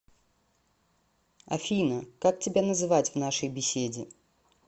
афина как тебя называть в нашей беседе